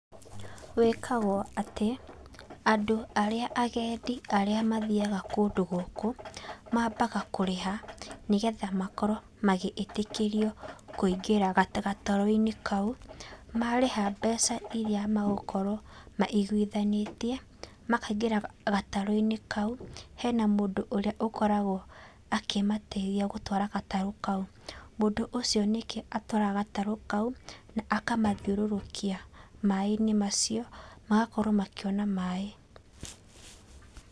Wĩkagwo atĩ, andũ arĩa agendi arĩa mathiyaga kũndũ gũkũ mambaga kũrĩha, nĩgetha makorwo magĩĩtĩkĩrio kũingĩra gatarũ-inĩ kau, marĩha mbeca irĩa magũkorwo maiguithanĩtie makaingĩra gatarũ-inĩ kau. Hena mũndũ ũrĩa ũkoragwo akĩmateithia gũtwara gatarũ kau, mũndũ ũcio ningĩ atwaraga gatarũ kau, akamathiũrũrũkia maaĩ-inĩ macio magakorwo makĩona maaĩ.